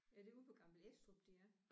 Er det ude på Gammel Estrup de er?